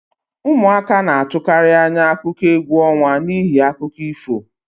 Ụmụaka na-atụkarị anya akụkọ égwu ọnwa n'ihi akụkọ ifo